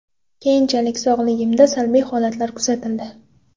Keyinchalik sog‘ligimda salbiy holatlar kuzatildi.